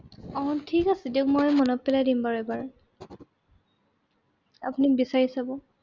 আহ ঠিক আছে দিয়ক মই মনত পেলাই দিম বাৰু এবাৰ। আপুনি বিচাৰি চাব।